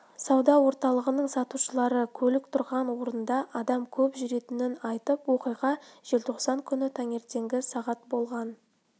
сауда орталығының сатушылары көлік тұрған орында адам көп жүретінін айтты оқиға желтоқсан күні таңертеңгі сағат болған